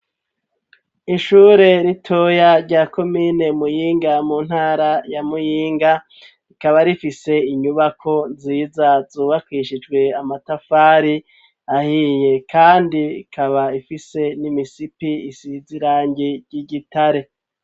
Ishure ritoya rya komine Muyinga, mu ntara ya Muyinga, ikaba rifise inyubako nziza zubakwishijwe amatafari ahiye kandi ikaba ifise n'imisipi isize irangi ry'igitare.